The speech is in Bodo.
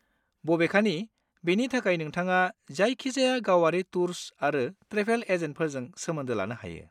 बबेखानि, बेनि थाखाय, नोंथाङा जायखिजाया गावारि टुर्स आरो ट्रेभेल एजेन्टफोरजों सोमोन्दो लानो हायो।